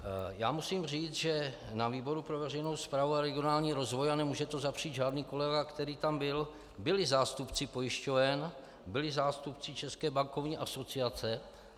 Já musím říct, že na výboru pro veřejnou správu a regionální rozvoj - a nemůže to zapřít žádný kolega, který tam byl - byli zástupci pojišťoven, byli zástupci České bankovní asociace.